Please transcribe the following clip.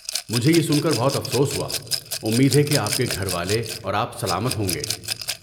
مجھے یہ سن کر بہت افسوس ہوا۔ امید ہے کہ آپ کے گھر والے اور آپ سلامت ہوں گے۔